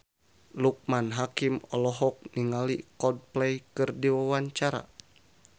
Loekman Hakim olohok ningali Coldplay keur diwawancara